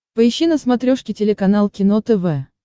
поищи на смотрешке телеканал кино тв